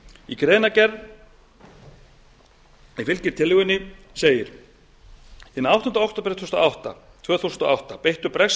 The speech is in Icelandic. í greinargerð sem fylgir tillögunni segir hinn áttunda október tvö þúsund og átta beittu bresk